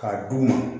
K'a d'u ma